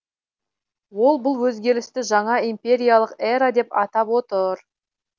ол бұл өзгерісті жаңа империялық эра деп атап отыр